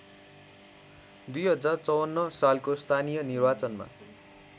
२०५४ सालको स्थानीय निर्वाचनमा